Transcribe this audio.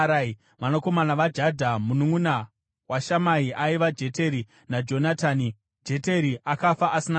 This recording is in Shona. Vanakomana vaJadha, mununʼuna waShamai vaiva: Jeteri naJonatani. Jeteri akafa asina vana.